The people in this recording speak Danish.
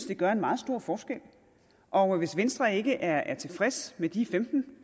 det gør en meget stor forskel og hvis venstre ikke er er tilfreds med de femten